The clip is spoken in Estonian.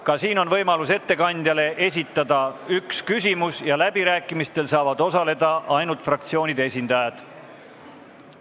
Ka nüüd on võimalus ettekandjale esitada üks küsimus ja läbirääkimistel saavad osaleda ainult fraktsioonide esindajad.